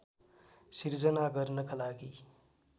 सिर्जना गर्नका लागि